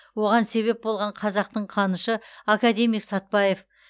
оған себеп болған қазақтың қанышы академик сәтбаев